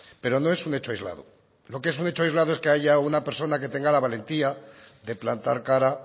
pero no es un hecho aislado lo que es un hecho aislado es que haya una persona que tenga la valentía de plantar cara